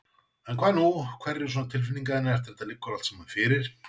En hvað nú, hverjar eru svona tilfinningar þínar eftir að þetta liggur allt saman fyrir?